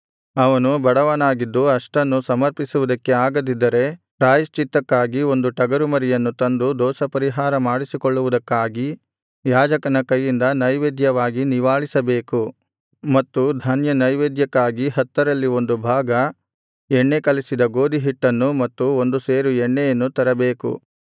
ಅವನು ಬಡವನಾಗಿದ್ದು ಅಷ್ಟನ್ನು ಸಮರ್ಪಿಸುವುದಕ್ಕೆ ಆಗದಿದ್ದರೆ ಪ್ರಾಯಶ್ಚಿತ್ತಯಜ್ಞಕ್ಕಾಗಿ ಒಂದು ಟಗರುಮರಿಯನ್ನು ತಂದು ದೋಷಪರಿಹಾರ ಮಾಡಿಸಿಕೊಳ್ಳುವುದಕ್ಕಾಗಿ ಯಾಜಕನ ಕೈಯಿಂದ ನೈವೇದ್ಯವಾಗಿ ನಿವಾಳಿಸಬೇಕು ಮತ್ತು ಧಾನ್ಯನೈವೇದ್ಯಕ್ಕಾಗಿ ಹತ್ತರಲ್ಲಿ ಒಂದು ಭಾಗ ಎಣ್ಣೆ ಕಲಸಿದ ಗೋದಿಹಿಟ್ಟನ್ನು ಮತ್ತು ಒಂದು ಸೇರು ಎಣ್ಣೆಯನ್ನು ತರಬೇಕು